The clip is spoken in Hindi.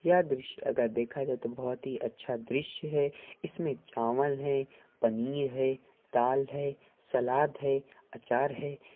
यह ड्रिसया अगर दिखाई दे तो बोहोत अच्छा दृश्य हे इसने चलाव हे पनीर हे दल हे सलाद हे आचार हे ।